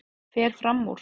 Fer fram úr.